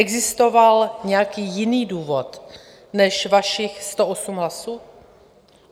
Existoval nějaký jiný důvod než vašich 108 hlasů?